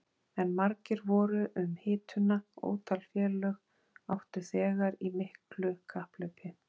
En margir voru um hituna, ótal félög áttu þegar í miklu kapphlaupi.